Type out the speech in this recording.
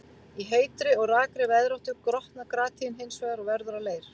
Í heitri og rakri veðráttu grotnar granít hins vegar og verður að leir.